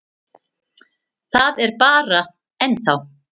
Það er bara. ennþá.